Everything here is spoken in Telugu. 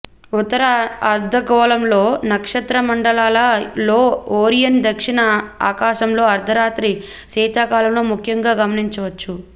ఉత్తర అర్ధగోళంలో నక్షత్రమండలాల లో ఓరియన్ దక్షిణ ఆకాశంలో అర్థరాత్రి శీతాకాలంలో ముఖ్యంగా గమనించవచ్చు